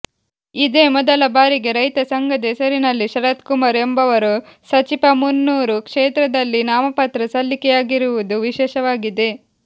ಇದೇ ಮೊದಲ ಬಾರಿಗೆ ರೈತ ಸಂಘದ ಹೆಸರಿನಲ್ಲಿ ಶರತ್ ಕುಮಾರ್ ಎಂಬವರು ಸಜಿಪಮುನ್ನೂರು ಕ್ಷೇತ್ರದಲ್ಲಿ ನಾಮಪತ್ರ ಸಲ್ಲಿಕೆಯಾಗಿರುವುದು ವಿಶೇಷವಾಗಿದೆ